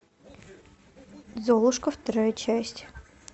золушка вторая часть